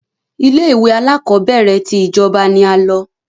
Ilé-ìwé alákọọ́bẹ̀rẹ̀ ti ìjọba ni a lọ.